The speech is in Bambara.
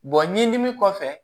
ɲinini kɔfɛ